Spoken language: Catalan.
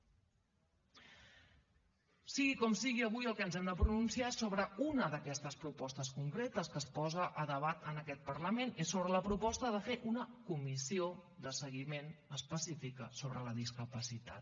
sigui com sigui avui sobre el que ens hem de pronunciar és sobre una d’aquestes propostes concretes que es posa a debat en aquest parlament és sobre la proposta de fer una comissió de seguiment específica sobre la discapacitat